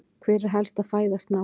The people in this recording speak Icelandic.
Hver er helsta fæða snáka?